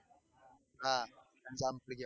હા